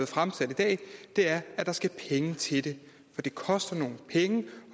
fremsat i dag er at der skal penge til det for det koster nogle penge